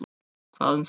Hvað um það.